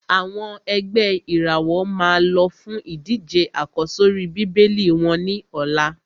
Àwọn ẹ̀gbẹ́ ìràwọ̀ máa lọ fún ìdíje àkọ́sórí Bíbélì wọ́n ní ọ̀la.